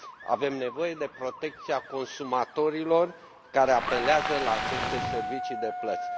Avem nevoie de protecția consumatorilor care apelează la aceste servicii de plăți.